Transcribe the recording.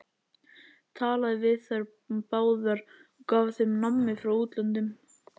Talaði við þær báðar og gaf þeim nammi frá útlöndum!